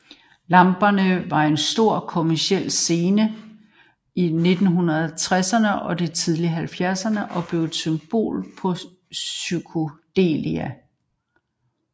Lamperne var en stor kommerciel succes i 1960erne og de tidlige 70ere og blev et symbol på psykedelia